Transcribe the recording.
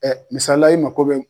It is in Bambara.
Ɛ misalila i mako bɛ